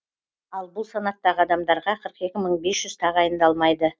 ал бұл санаттағы адамдарға қырық екі мың бес жүз тағайындалмайды